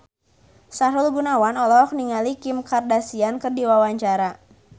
Sahrul Gunawan olohok ningali Kim Kardashian keur diwawancara